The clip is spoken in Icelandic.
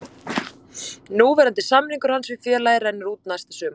Núverandi samningur hans við félagið rennur út næsta sumar.